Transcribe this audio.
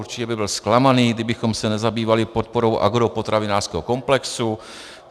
Určitě by byl zklamaný, kdybychom se nezabývali podporou agropotravinářského komplexu.